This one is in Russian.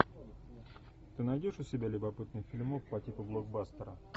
ты найдешь у себя любопытный фильмок по типу блокбастера